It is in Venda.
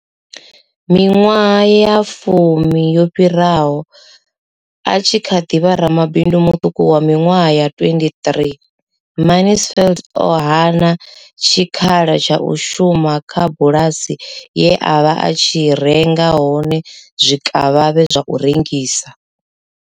Miṅwaha ya fumi yo fhiraho, a tshi kha ḓi vha ramabindu muṱuku wa miṅwaha ya 23, Mansfield o hana tshikhala tsha u shuma kha bulasi ye a vha a tshi renga hone zwikavhavhe zwa u rengisa.